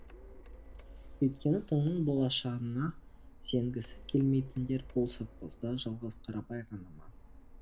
өйткені тыңның болашағына сенгісі келмейтіндер бұл совхозда жалғыз қарабай ғана ма